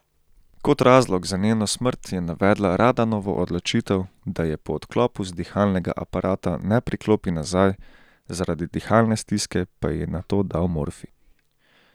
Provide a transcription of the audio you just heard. Kot razlog za njeno smrt je navedla Radanovo odločitev, da je po odklopu z dihalnega aparata ne priklopi nazaj, zaradi dihalne stiske pa ji je nato dal morfij.